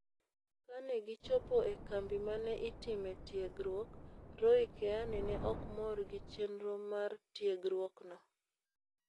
Kane gichopo e kambi ma ne itimee tiegruok, Roy Keane ne ok mor gi chenro mar tiegruokno.